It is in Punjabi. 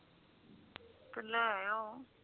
ਕਿੰਨਾ ਹੈ ਓ